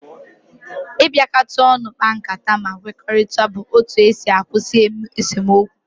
Ibiakata onu kpa nkata ma kwekorita bu otu esi akwusi esomokwu.